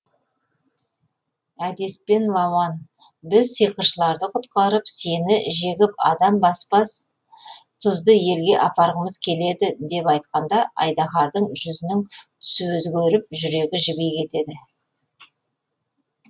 әдеспен лауан біз сиқыршыларды құтқарып сені жегіп адам баспас тұзды елге аттанғымыз келеді деп айтқанда айдаһардың жүзінің түсі өзгеріп жүрегі жіби кетеді